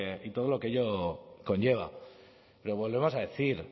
y todo lo que ello conlleva pero volvemos a decir